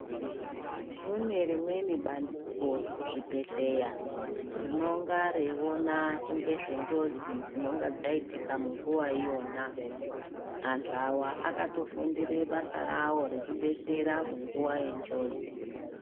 Kunerimweni bandiko kuzvibhedhleya rinonga reyiwona ngezvenjodzi dzinonga dzayitika munguwa iyona. Anthu awa akatofundire basa rawo rekudetsera munguwa yenjodzi.